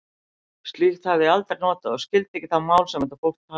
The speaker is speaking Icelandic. Slíkt hafði ég aldrei notað og skildi ekki það mál, sem þetta fólk talaði.